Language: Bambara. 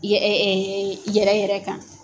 Yɛ yɛrɛ yɛrɛ kan.